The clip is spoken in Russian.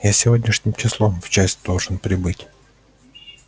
я сегодняшним числом в часть должен прибыть